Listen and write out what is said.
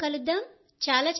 త్వరలో కలుద్దాం